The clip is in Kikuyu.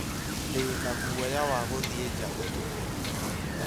Ndĩ na guoya wa gũthiĩ nja ũtukũ